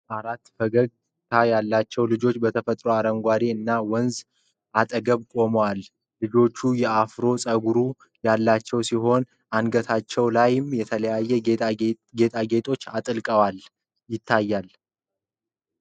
አራት ፈገግታ ያላቸው ልጆች በተፈጥሮ አረንጓዴ እና ወንዝ አጠገብ ቆመዋል። ልጆቹ የአፍሮ ፀጉር ያላቸው ሲሆን፣ አንገታቸው ላይም የተለያዩ ጌጣጌጦችን አጥልቀዋል።